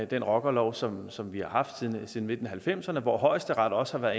den rockerlov som som vi har haft siden nitten halvfemserne hvor højesteret også har